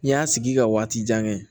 N y'a sigi ka waati jan kɛ